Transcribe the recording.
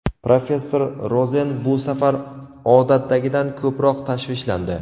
Professor Rozen bu safar odatdagidan ko‘proq tashvishlandi.